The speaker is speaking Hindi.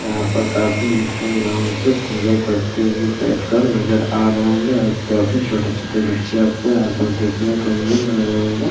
यहाँ पर काफी धुम-धाम से पुजा करते हुए बैठ कर नजर आ रहें होंगे और काफी छोटे-छोटे बच्चे आपको यहाँ पर देखने को मिल रहें होंगे।